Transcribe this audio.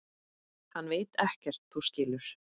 Hann veit ekkert. þú skilur.